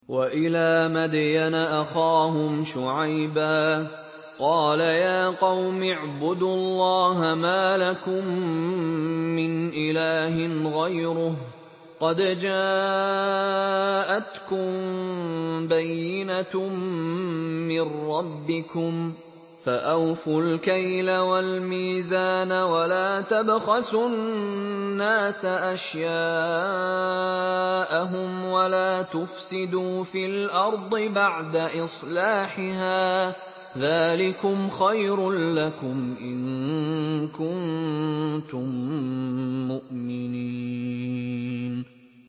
وَإِلَىٰ مَدْيَنَ أَخَاهُمْ شُعَيْبًا ۗ قَالَ يَا قَوْمِ اعْبُدُوا اللَّهَ مَا لَكُم مِّنْ إِلَٰهٍ غَيْرُهُ ۖ قَدْ جَاءَتْكُم بَيِّنَةٌ مِّن رَّبِّكُمْ ۖ فَأَوْفُوا الْكَيْلَ وَالْمِيزَانَ وَلَا تَبْخَسُوا النَّاسَ أَشْيَاءَهُمْ وَلَا تُفْسِدُوا فِي الْأَرْضِ بَعْدَ إِصْلَاحِهَا ۚ ذَٰلِكُمْ خَيْرٌ لَّكُمْ إِن كُنتُم مُّؤْمِنِينَ